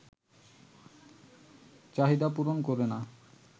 চাহিদা পূরণ করে না